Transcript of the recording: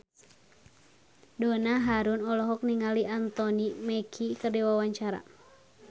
Donna Harun olohok ningali Anthony Mackie keur diwawancara